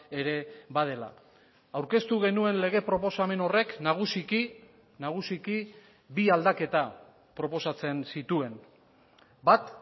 ere badela aurkeztu genuen lege proposamen horrek nagusiki nagusiki bi aldaketa proposatzen zituen bat